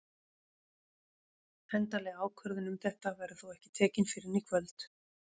Endanleg ákvörðun um þetta verður þó ekki tekin fyrr en í kvöld.